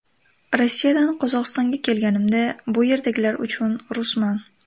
Rossiyadan Qozog‘istonga kelganimda bu yerdagilar uchun rusman.